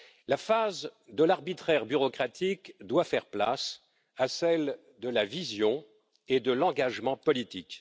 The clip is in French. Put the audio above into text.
La phase de l'arbitraire bureaucratique doit faire place à celle de la vision et de l'engagement politique.